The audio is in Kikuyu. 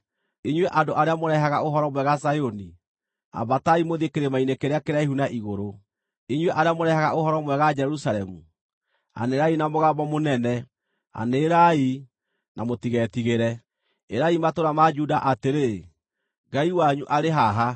Inyuĩ andũ arĩa mũrehaga ũhoro mwega Zayuni, ambatai mũthiĩ kĩrĩma-inĩ kĩrĩa kĩraihu na igũrũ. Inyuĩ arĩa mũrehaga ũhoro mwega Jerusalemu, anĩrĩrai na mũgambo mũnene, anĩrĩrai, na mũtigetigĩre; ĩrai matũũra ma Juda atĩrĩ, “Ngai wanyu arĩ haha!”